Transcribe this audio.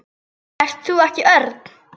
Ert þú ekki Örn?